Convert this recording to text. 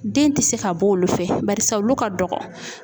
Den ti se ka bɔ olu fɛ barisa olu ka dɔgɔ.